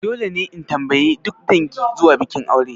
Dole ne in tambayi duk dangi zuwa bikin aure?